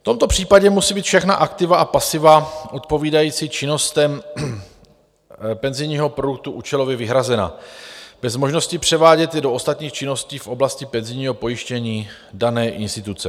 V tomto případě musí být všechna aktiva a pasiva odpovídající činnostem penzijního produktu účelově vyhrazena bez možnosti převádět je do ostatních činností v oblasti penzijního pojištění dané instituce.